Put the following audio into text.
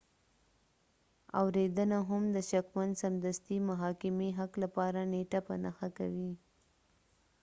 اوریدنه هم د شکمن سمدستي محاکمې حق لپاره نیټه په نښه کوي